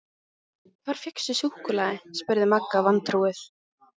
Hvar fékkstu súkkulaði? spurði Magga vantrúuð.